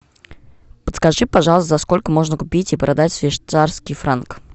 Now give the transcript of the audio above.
подскажи пожалуйста за сколько можно купить и продать швейцарский франк